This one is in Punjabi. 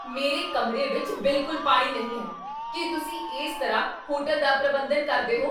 ਮੇਰੇ ਕਮਰੇ ਵਿੱਚ ਬਿਲਕੁੱਲ ਪਾਣੀ ਨਹੀਂ ਹੈ! ਕੀ ਤੁਸੀਂ ਇਸ ਤਰ੍ਹਾਂ ਹੋਟਲ ਦਾ ਪ੍ਰਬੰਧਨ ਕਰਦੇ ਹੋ?